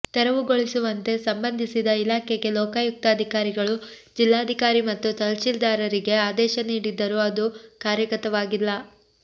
ತೆರವು ಗೊಳಿಸುವಂತೆ ಸಂಬಂದಿಸಿದ ಇಲಾಖೆಗೆ ಲೋಕಾಯುಕ್ತ ಅಧಿಕಾರಿಗಳು ಜಿಲ್ಲಾಧಿಕಾರಿ ಮತ್ತು ತಹಶೀಲ್ದಾರರಿಗೆ ಆದೇಶ ನೀಡಿದ್ದರು ಅದು ಕಾರ್ಯಗತವಾಗಿಲ್ಲ